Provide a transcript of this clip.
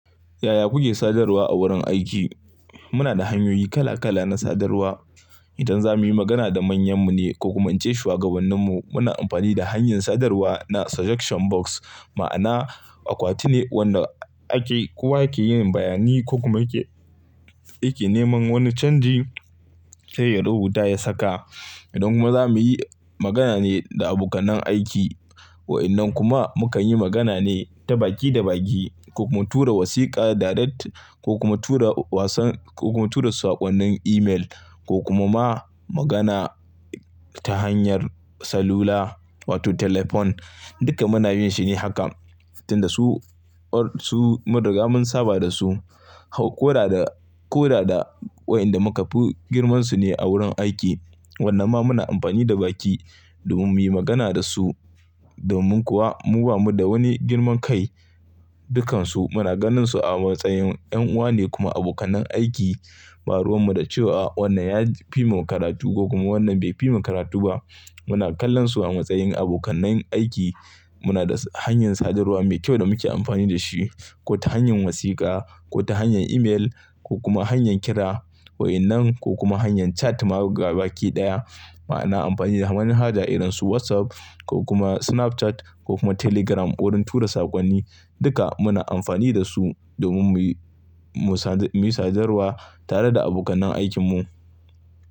Yaya kuke sadarwa a wurin aiki? Muna da hanyoyi kala kala na sadarwa. Idan za mu yi magana da manyan mu ne ko kuma in ce shugabannin mu, muna amfani da hanyar sadarwa na suggestion box. Ma'ana akwati ne wanda ake, kowa yake yin bayani ko kuma yake, yake neman wani canji sai ya rubuta ya saka. Idan kuma za mu yi magana ne da abokanai aiki, wa'innan kuma mu kan yi magana ne ta baki da baki ko kuma tura wasika direct ko kuma tura wasan ko kuma tura sakonnin email ko kuma ma magana ta hanyar salula wato telephone. Duka muna yin shi ne haka. Tinda su, su mun riga mun saba da su, hau, kora da, kora da wa'inda muka fi girmansu ne a wurin aiki. Wanna ma muna amfani da baki domin muyi magana da su. Domin kuwa mu bamu da wani girman kai, dukansu muna ganin su a matsayin 'yanuwa ne kuma abokanai aiki. Ba ruwan mu da cewa wannan ya fi mu karatu ko kuma wannan bai fi mu karatu ba. Muna kallon su a matsayin abokanai aiki. Muna da hanyar sadarwa mai kyau da muke amfani da shi. Ko ta hanyar wasika, ko ta hanyar email ko kuma hanyar kira. Wa'innan ko kuma hanyar chat ma gabaki daya. Ma'ana amfani da zamanin haja irin su WhatsApp ko kuma Snapchat ko kuma Telegram wurin tura sakonni. Duka muna amfani da su domin mu yi, mu sadar, mu yi sadarwa tare da abokanai aikin mu.